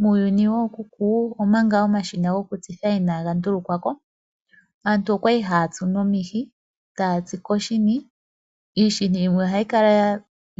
Muuyuni wookuku, omanga omashina gwokutsitha inaaga ndulukwa ko aantu oyali haya tsu nomihi taya tsu koshini. Iini yimwe ihayi kala